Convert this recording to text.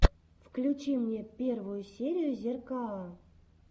включи мне первую серию зеркаа